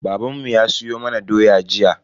Babanmu ya siyo mana doya jiya.